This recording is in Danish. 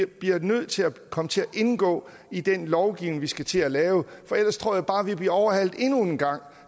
bliver nødt til at komme til at indgå i den lovgivning vi skal til at lave for ellers tror jeg bare vi bliver overhalet endnu en gang